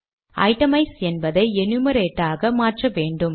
itemise என்பதை enumerate ஆக மாற்றவேண்டும்